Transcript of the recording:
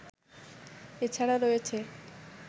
এছাড়া রয়েছে